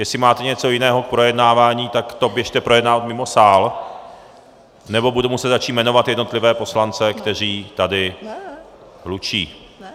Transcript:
Jestli máte něco jiného k projednávání, tak to běžte projednávat mimo sál, nebo budu muset začít jmenovat jednotlivé poslance, kteří tady hlučí.